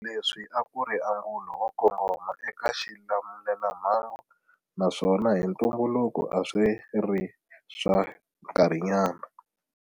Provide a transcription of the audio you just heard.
Leswi a ku ri angulo wo kongoma eka xilamulelamhangu naswona hi ntumbuluko a swi ri swa nkarhinyana.